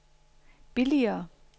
billigere